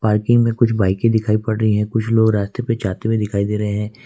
Parking में कुछ बाईकें दिखाई पड़ रही है कुछ लोग रस्ते पे जाते हुए दिखाई दे रहे है।